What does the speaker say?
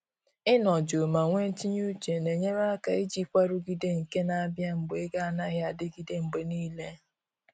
Ị nọ jụụ ma nwe tinye uche na enyere aka ijikwa nrụgide nke na abịa mgbe ego anaghị adịgide mgbe niile